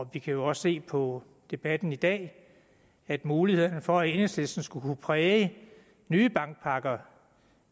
vi kan jo også se på debatten i dag at mulighederne for at enhedslisten skulle kunne præge nye bankpakker